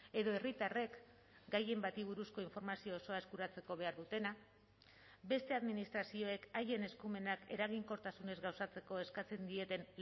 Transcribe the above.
edo herritarrek gaien bati buruzko informazio osoa eskuratzeko behar dutena beste administrazioek haien eskumenak eraginkortasunez gauzatzeko eskatzen dieten